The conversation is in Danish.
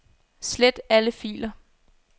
Slet alle filer.